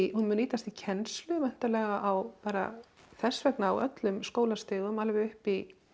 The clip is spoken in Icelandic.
hún nýtast í kennslu væntanlega á bara þess vegna á öllum skólastigum alveg upp í